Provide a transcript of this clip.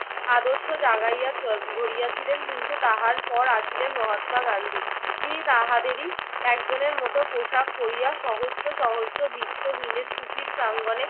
আদর্শ জাগাইয়া গড়িয়াছিলেন। কিন্তু তাহার পর আসিলেন মহাত্মা গান্ধী। তিনি তাহাদেরই একজনের মত পোশাক পড়িয়া সহস্র সহস্র বিত্তহীনের কুটির প্রাঙ্গণে